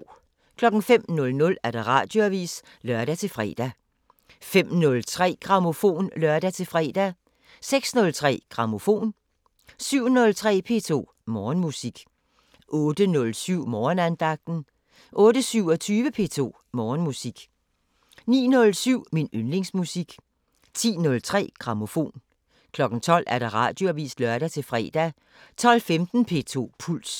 05:00: Radioavisen (lør-fre) 05:03: Grammofon (lør-fre) 06:03: Grammofon 07:03: P2 Morgenmusik 08:07: Morgenandagten 08:27: P2 Morgenmusik 09:07: Min yndlingsmusik 10:03: Grammofon 12:00: Radioavisen (lør-fre) 12:15: P2 Puls